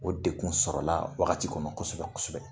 O dekun sɔrɔla wagati kɔnɔ kosɛbɛ kosɛbɛ.